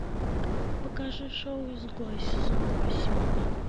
покажи шоу изгой сезон восемь